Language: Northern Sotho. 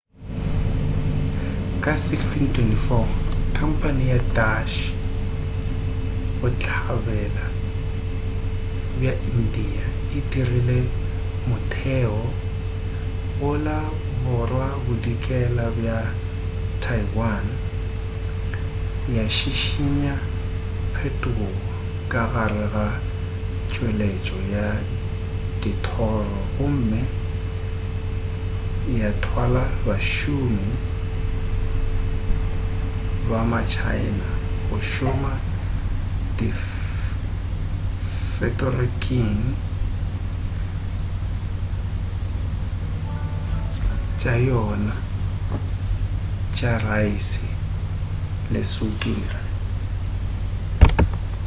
ka 1624,khampane ya dutch bohlabela bja india e dirile motheo go la borwabodikela bja taiwan ya šišinya phetogo ka gare ga tšweletšo ya dithoro gomme ya twala bašomi ba ma china go šoma difekoring tša yona tša raese le sukiri